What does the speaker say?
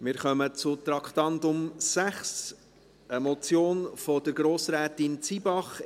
Wir kommen zum Traktandum 6, einer Motion von Grossrätin Zybach: